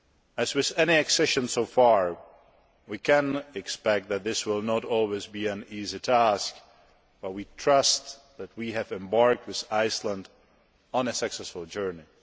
As with any accession so far, it is to be expected that this will not always be an easy task, but we trust that we have embarked with Iceland on a successful journey.